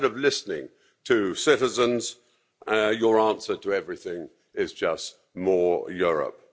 Instead of listening to citizens, your answer to everything is just more Europe.